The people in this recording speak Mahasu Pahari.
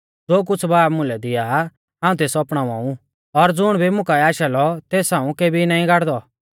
ज़ो कुछ़ बाब मुलै दिआ आ हाऊं तेस अपणावा ऊ और ज़ुण भी मुं काऐ आशा लौ तेस हाऊं केबी नाईं गाड़दौ